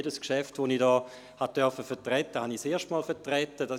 Jedes Geschäft, das ich hier vertreten durfte, vertrat ich zum ersten Mal.